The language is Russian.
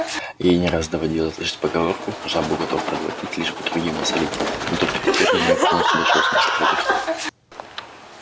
ей не раз доводилось слышать поговорку жабу готов проглотить лишь бы другим насолить но только теперь до нее полностью дошёл смысл этих слов